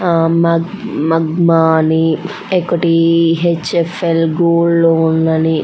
ఒకటి మాగ్మా అని ఇంకోటి H -F- L gold loan అని --